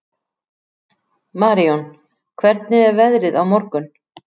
Marijón, hvernig er veðrið á morgun?